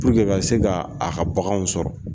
ka se ka a ka baganw sɔrɔ